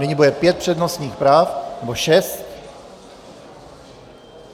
Nyní bude pět přednostních práv, nebo šest.